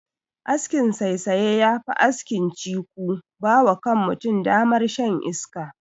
Askin saisaya ya fi askin "ciko" ba wa kan mutum damar shan iska.